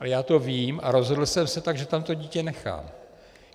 A já to vím a rozhodl jsem se tak, že tam to dítě nechám.